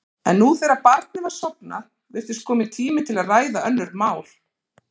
En nú, þegar barnið var sofnað, virtist kominn tími til að ræða önnur mál.